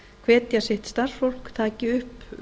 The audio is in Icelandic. hvetja sitt starfsfólk taki upp